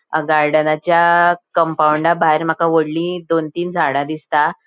अ गार्डनाच्या कंपाऊंडाभायर माका वोडली दोन तीन झाडा दिसता.